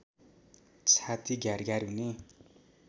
छाति घ्यार घ्यार हुने